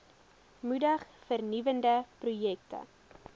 moedig vernuwende projekte